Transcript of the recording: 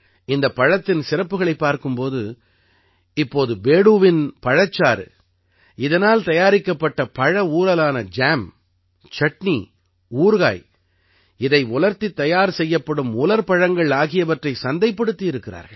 இந்தப் பழத்தின் சிறப்புக்களைப் பார்க்கும் போது இப்போது பேடூவின் பழச்சாறு இதனால் தயாரிக்கப்பட்ட பழ ஊறலான ஜாம் சட்டினி ஊறுகாய் இதை உலர்த்தித் தயார் செய்யப்படும் உலர் பழங்கள் ஆகியவற்றைச் சந்தைப்படுத்தி இருக்கிறார்கள்